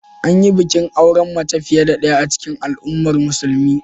An yi bikin auren mace fiye da ɗaya a cikin al'ummar musulmin.